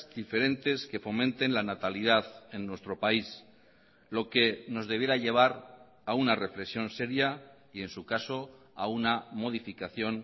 diferentes que fomenten la natalidad en nuestro país lo que nos debiera llevar a una reflexión seria y en su caso a una modificación